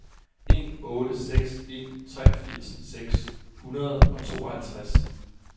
en otte seks en treogfirs seks hundrede og tooghalvtreds